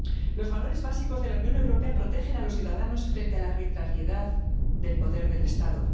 Los valores básicos de la Unión Europea protegen a los ciudadanos frente a la arbitrariedad del poder del Estado.